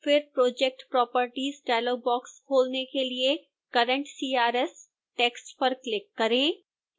फिर project properties dialog box खोलने के लिए current crs टेक्स्ट पर क्लिक करें